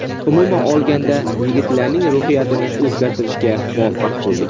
Umuman olganda yigitlarning ruhiyatini o‘zgartirishga muvaffaq bo‘ldik.